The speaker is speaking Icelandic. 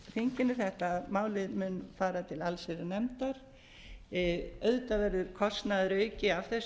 þinginu þetta mál mun fara til allsherjarnefndar auðvitað verður kostnaðarauki af þessu vegna þess að